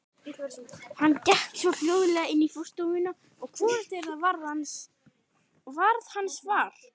Hann gekk svo hljóðlega inn í forstofuna að hvorugt þeirra varð hans var.